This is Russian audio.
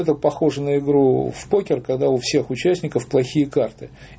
это похожие на игру в покер когда у всех участников плохие карты